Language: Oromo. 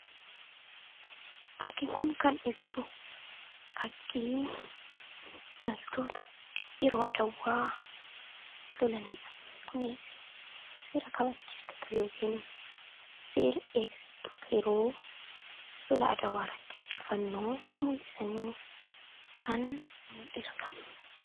Fakkiin kun kan ibsu fakkii loltoota yeroo adwaa lolanidha. Kunis seera kabachiistota yookiin seera eegsistoota yeroo lola adwaarratti injifannoo mul'isanii kan mul'isudha.